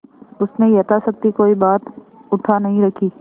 उसने यथाशक्ति कोई बात उठा नहीं रखी